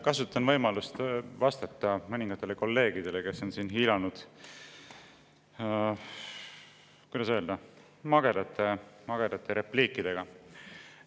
Kasutan võimalust vastata mõningatele kolleegidele, kes on siin hiilanud, kuidas öelda, magedate repliikidega.